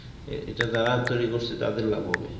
এটা যারা তৈরি করছে তাদের লাভ হবে